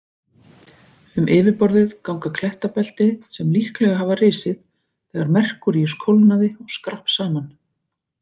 Um yfirborðið ganga klettabelti sem líklega hafa risið þegar Merkúríus kólnaði og skrapp saman.